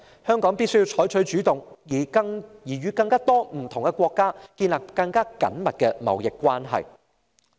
香港必須採取主動，與更多不同國家建立更緊密的貿易關係。